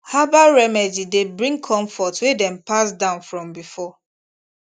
herbal remedy dey bring comfort wey dem pass down from before